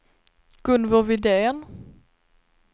Gunvor Widén